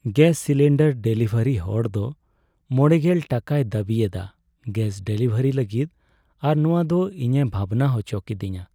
Gas cylinder delivery ᱦᱚᱲᱫᱚ ᱕᱐ ᱴᱟᱠᱟᱭ ᱫᱟᱹᱵᱤ ᱮᱫᱟ ᱜᱮᱹᱥ ᱰᱮᱞᱤᱵᱷᱟᱨᱤ ᱞᱟᱹᱜᱤᱫ ᱟᱨ ᱱᱚᱶᱟᱫᱚ ᱤᱧᱮ ᱵᱷᱟᱵᱽᱱᱟ ᱦᱚᱪᱚ ᱠᱤᱫᱤᱧᱟ ᱾